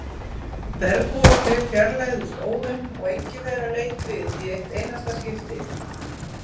Bergbúarnir fjarlægðust óðum og enginn þeirra leit við í eitt einasta skipti.